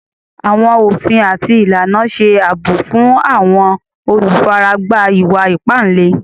Àwọn ofín àti ilànà ṣè abọ̀ fún àwọn olúfáràgbá ìwà-ìpà ìlẹ̀.